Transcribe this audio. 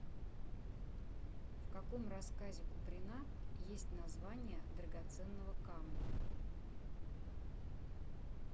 в каком рассказе куприна есть название драгоценного камня